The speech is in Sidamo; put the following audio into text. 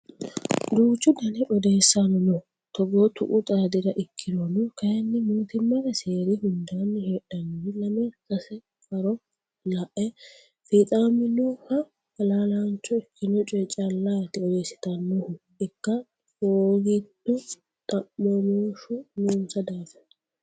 Duuchu dani odeessano no togo tuqu xaadira ikkirono kayinni mootimmate seeri hundanni heedhanori lame sase faro lae fixaminoha halaalacho ikkino coye callati odeessittanohu ikka hoogito xa'mamoshu noonsa daafira.